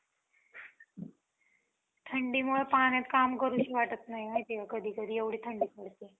थंडीमुळं पाण्यात काम करूशी वाटत नाही. माहितीये का कधी कधी एवढी थंडी पडते.